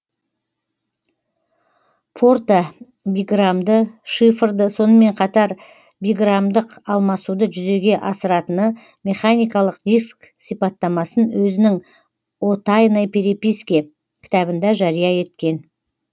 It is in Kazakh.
порта биграммды шифрды сонымен қатар биграммдық алмасуды жүзеге асыратны механикалық диск сипаттамасын өзінің о тайной переписке кітабында жария еткен